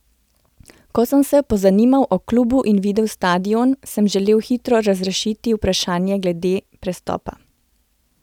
Ko sem se pozanimal o klubu in videl stadion, sem želel hitro razrešiti vprašanje glede prestopa.